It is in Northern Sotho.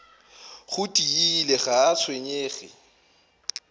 go tiile ga a tshwenyege